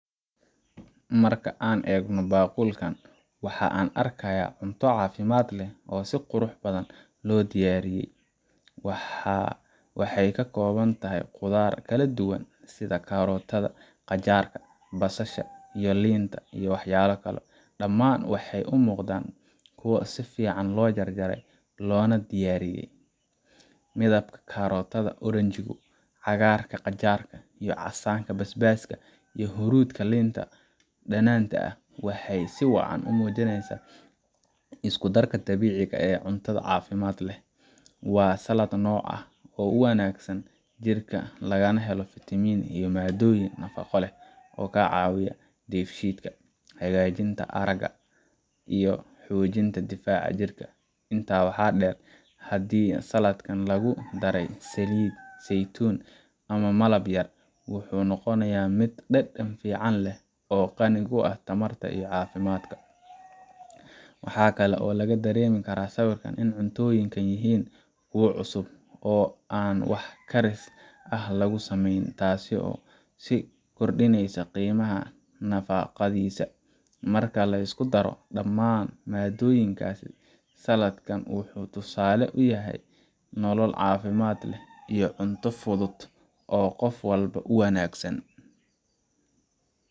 Marka aan eegno baaqulkan, waxa aan arkayaa cunto caafimaad leh oo si qurux badan loo diyaariyey. Waxay ka kooban tahay khudaar kala duwan sida karootada, qajaarka, basasha, iyo liinta waxyaalo kale dhammaan waxay u muuqdaan kuwo si fiican loo jarjaray loona diyaariyey. Midabka karootada oranjo ah, cagaar qajaar ah, casaanka basbaaska, iyo huruudda liinta dhanaanta ah waxay si wacan u muujiyaan isku-darka dabiiciga ah ee cunto caafimaad leh. Waa salad nooc ah oo u wanaagsan jirka, lagana helo fitamiinno iyo maaddooyin nafaqo leh oo ka caawiya dheefshiidka, hagaajinta aragga, iyo xoojinta difaaca jirka. Intaa waxaa dheer, haddii saladkan lagu daray saliid saytuun ama malab yar, wuxuu noqonayaa mid dhadhan fiican leh oo qani ku ah tamar iyo caafimaad. Waxa kale oo laga dareemi karaa sawirka in cuntooyinkani yihiin kuwo cusub oo aan wax karis ah lagu samaynin, taasoo sii kordhinaysa qiimaha nafaqadiisa. Marka la isku daro dhammaan maaddooyinkaasi, saladkan wuxuu tusaale u yahay nolol caafimaad leh iyo cunto fudud oo qof walba u wanaagsan.